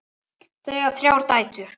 Þau eiga þrjár dætur.